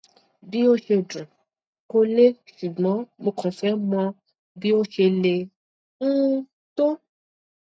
bí ó ṣe dún kò le ṣùgbọn mo kàn fẹ mọ bí ó ṣe le um tó